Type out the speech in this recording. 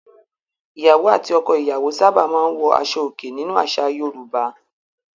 Ìyàwó àti ọkọ-ìyàwó sábà máa ń wọ aṣọòkè nínú àṣà Yorùbá.